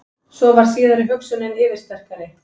Svo varð síðari hugsunin yfirsterkari.